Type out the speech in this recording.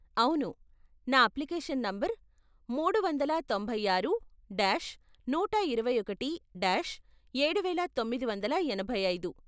అవును, నా application number మూడు వందల తొంభై ఆరు డాష్ నూట ఇరవై ఒకటి డాష్ ఏడువేల తొమ్మిది వందల ఎనభై ఐదు.